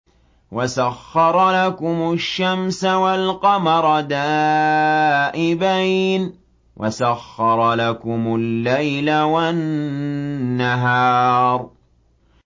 وَسَخَّرَ لَكُمُ الشَّمْسَ وَالْقَمَرَ دَائِبَيْنِ ۖ وَسَخَّرَ لَكُمُ اللَّيْلَ وَالنَّهَارَ